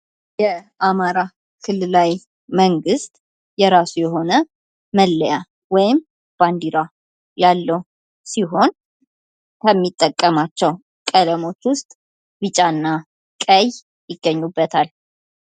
የአማራ ክልል ላይ መንግስት የራሱ የሆነ መለያ ወይም ባንዴራ ያለው ሲሆን ከሚጠቀማቸው ቀለሞች ውስጥ ቢጫና ቀይ ይገኙበታል።